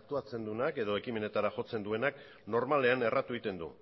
aktuatzen duenak edo ekimenetara jotzen duenak normalean erratu egiten du